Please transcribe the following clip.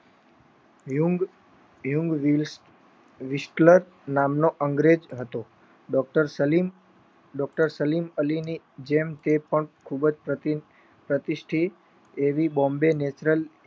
વ્યૂન્ગ વિસલત નામનો અંગ્રેજ હતો Doctor સલીમ અલીમ જેમ તે પણ ખુબ જ પ્રતિષ્ઠિ એવી બોમ્બે National